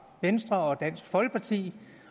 venstre og dansk folkeparti